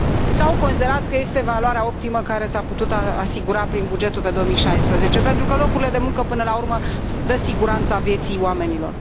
Sau considerați că este valoarea optimă care s a putut asigura prin bugetul pe 2016, pentru că locurile de muncă până la urmă dau siguranța vieții oamenilor?